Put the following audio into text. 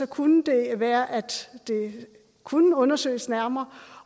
kunne det være at det kunne undersøges nærmere